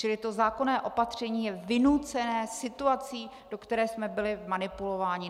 Čili to zákonné opatření je vynucené situací, do které jsme byli vmanipulováni.